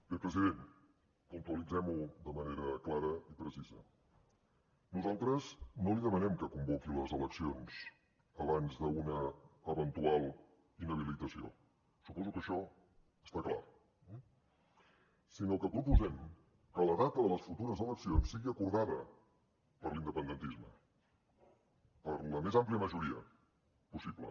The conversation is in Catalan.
bé president puntualitzem ho de manera clara i precisa nosaltres no li demanem que convoqui les eleccions abans d’una eventual inhabilitació suposo que això està clar sinó que proposem que la data de les futures eleccions sigui acordada per l’independentisme per la més àmplia majoria possible